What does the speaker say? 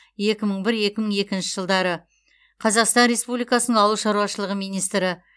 екі мың бір екі мың екінші жылдары қазақстан республикасының ауыл шаруашылығы министрі